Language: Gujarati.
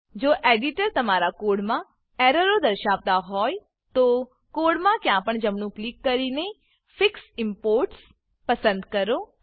જો એડીટર તમારા કોડમાં એરરો દર્શાવતો હોય તો કોડમાં ક્યાંપણ જમણું ક્લિક કરીને ફિક્સ ઇમ્પોર્ટ્સ ફિક્સ ઈમ્પોર્ટ્સ પસંદ કરો